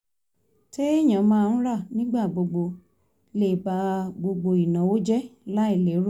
téèyàn máa ń rà nígbà gbogbo lè ba gbogbo ìnáwó jẹ́ láì lérò